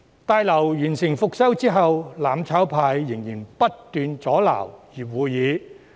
大樓復修工程完成後，"攬炒派"仍然不斷阻撓會議。